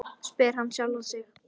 spyr hann sjálfan sig.